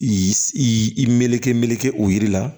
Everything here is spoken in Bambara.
I i i i meleke meleke o yiri la